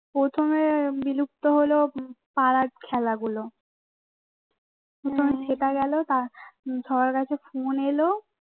প্রথমে বিলুপ্ত হল পাড়ার খেলাগুলো প্রথমে সেটা গেল সবার কাছে ফোন এলো